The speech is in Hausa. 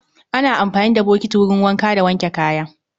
Ana amfani da bokiti wurin wanka da wanke kaya.